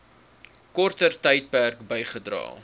korter tydperk bygedra